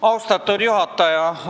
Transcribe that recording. Austatud juhataja!